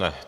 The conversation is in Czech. Ne.